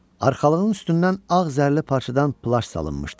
Arxalığın üstündən ağ zərli parçadan plaş salınmışdı.